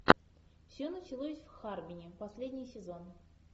все началось в харбине последний сезон